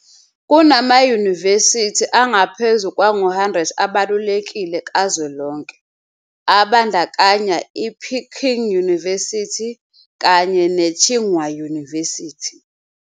Kunamayunivesithi angaphezulu kwangu 100 abalulekile kazwelonke, abandakanya i-Peking University kanye ne-Tsinghua University.